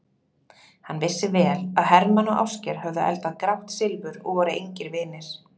Hann vissi vel að Hermann og Ásgeir höfðu eldað grátt silfur og voru engir vinir.